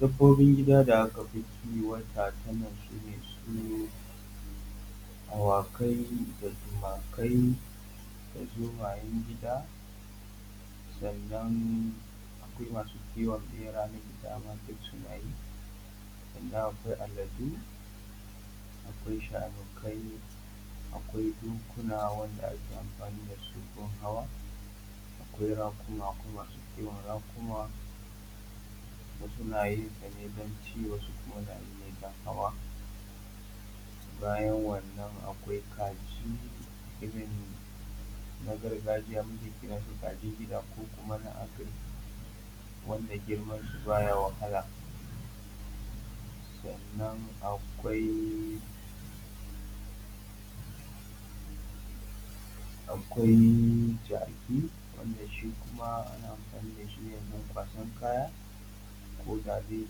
Dabobin gida da aka fi kiwata tanan su ne su awakai, da tumakai, da zomayan gida, sannan akwai masu kiwon ɓeraye da dama duk suna yi sannan akwai aladu, akwai shanukai, akwai dokuna wanda ake amfani da su gun hawa, akwai raƙuma, ko masu kiwon raƙuma wasu na yin sa ne don ci, wasu kuma na yi ne don hawa. Bayan wannan akwai kaji irin na gargajiya muke kiran su kajin gida, ko kuma na agric, wanda girman su ba ya wahala, sannan akwai jaki, wanda shi kuma ana amfani da shi ne wajan kwasan kaya koda dai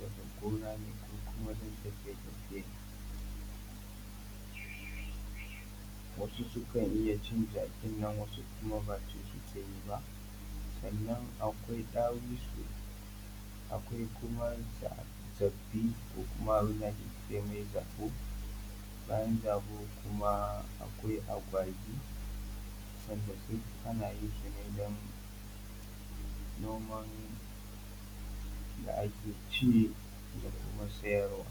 daga gona ne ko kuma tafiye tafiye, wasu sukan iya cin jakin nan, wasu kuma ba ci suke yi ba. Sannan akwai ɗawisu, akwai kuma zabbi ko kuma abin da ake cewa zabo. Bayan zabo kuma akwai agwagi, sadan su ana yin sa ne don noman da ake ci da kuma siyarwa.